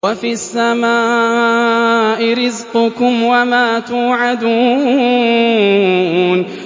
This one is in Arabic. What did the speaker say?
وَفِي السَّمَاءِ رِزْقُكُمْ وَمَا تُوعَدُونَ